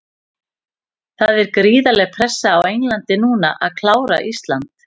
Það er gríðarleg pressa á Englandi núna að klára Ísland.